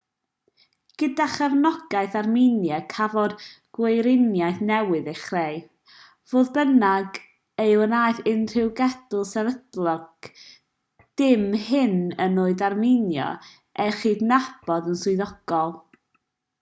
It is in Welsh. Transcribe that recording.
gyda chefnogaeth armenia cafodd gweriniaeth newydd ei chreu fodd bynnag ni wnaeth unrhyw genedl sefydledig dim hyd yn oed armenia ei chydnabod yn swyddogol